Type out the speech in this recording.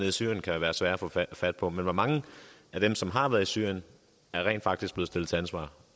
i syrien kan være svære at få fat fat på men hvor mange af dem som har været i syrien er rent faktisk blevet stillet til ansvar